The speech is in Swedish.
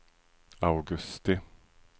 augusti